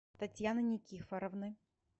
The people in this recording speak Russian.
татьяны никифоровны